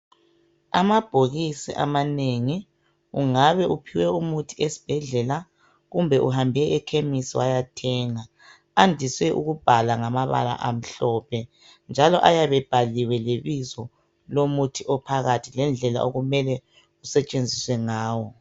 Amabhokisi amanengi ungabe uphiwe umuthi esibhedlela kumbe uhambe ekhemesi wayathenga andise ukubhalwa ngamabala amhlophe njalo ayabe ebhaliwe lebizo lomuthi ophakathi lendlela okumele usetshenziswe ngawo.